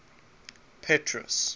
petrus